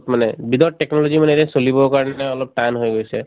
মানে without technology মানেৰে চলিবৰ কাৰণে অলপ টান হৈ গৈছে